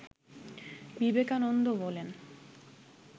বিবেকানন্দ বলেন